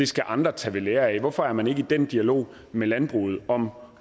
skal andre tage ved lære af hvorfor er man ikke i den dialog med landbruget om